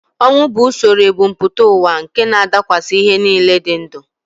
Ọnwụ bụ usoro ebumpụta ụwa nke na-adakwasị ihe niile dị ndụ